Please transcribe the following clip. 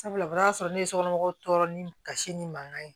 Sabula o y'a sɔrɔ ne ye sokɔnɔ mɔgɔw tɔɔrɔ ni kasi ni mankan ye